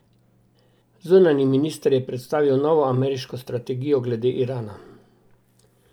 Zunanji minister je predstavil novo ameriško strategijo glede Irana.